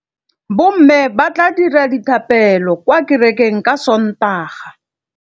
Bommê ba tla dira dithapêlô kwa kerekeng ka Sontaga.